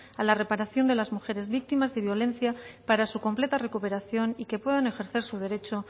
a la reparación de las mujeres víctimas de violencia para su completa recuperación y que puedan ejercer su derecho